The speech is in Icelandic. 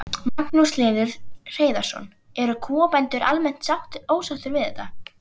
Magnús Hlynur Hreiðarsson: Eru kúabændur almennt ósáttir við þetta?